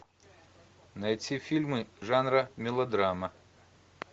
найти фильмы жанра мелодрама